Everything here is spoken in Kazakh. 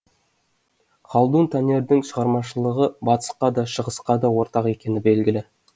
халдун танердің шығармашылығы батысқа да шығысқа ортақ екені белгілі